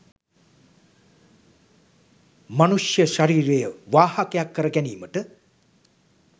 මනුෂ්‍ය ශරීරය වාහකයක් කර ගැනීමට